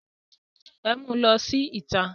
Ẹ mu lọ sí ìta!